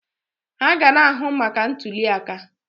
Ha ga na-ahụ maka ntuliaka.